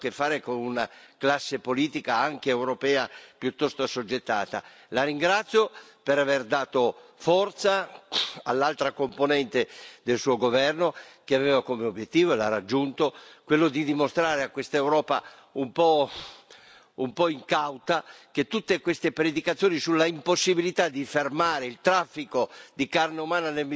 La ringrazio per aver dato forza all'altra componente del suo governo, che aveva come obiettivo e l'ha raggiunto quello di dimostrare a questa Europa un po' incauta che tutti questi sermoni sull'impossibilità di fermare il traffico di carne umana nel Mediterraneo erano falsi e forse servivano a interessi piuttosto oscuri.